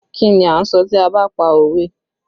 Kí ni a ń sọ tí a ba pa òwe?